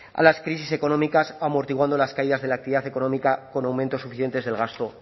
a las crisis económicas amortiguando las caídas de la actividad económica con aumentos suficientes del gasto